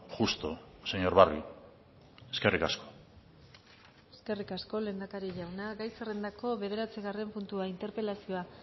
justo señor barrio eskerrik asko eskerrik asko lehendakari jauna gai zerrendako bederatzigarren puntua interpelazioa